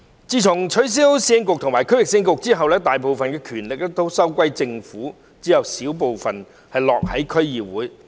自從取消市政局和區域市政局後，大部分權力收歸政府，只有小部分落到區議會。